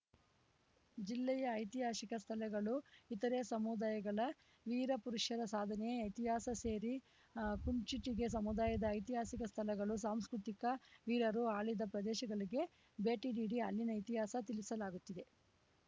ಜಿಲ್ಲೆಯ ಐತಿಹಾಸಿಕ ಸ್ಥಳಗಳು ಇತರೆ ಸಮುದಾಯಗಳ ವೀರ ಪುರುಷರ ಸಾಧನೆ ಇತಿಹಾಸ ಸೇರಿ ಕುಂಚಿಟಿಗ ಸಮುದಾಯದ ಐತಿಹಾಸಿಕ ಸ್ಥಳಗಳು ಸಾಂಸ್ಕೃತಿಕ ವೀರರು ಆಳಿದ ಪ್ರದೇಶಗಳಿಗೆ ಭೇಟಿ ನೀಡಿ ಅಲ್ಲಿನ ಇತಿಹಾಸ ತಿಳಿಸಲಾಗುತ್ತಿದೆ